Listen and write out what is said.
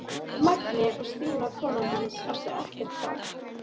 Mangi og Stína konan hans áttu ekkert barn.